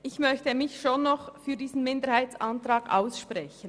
Ich möchte mich für diesen Minderheitsantrag aussprechen.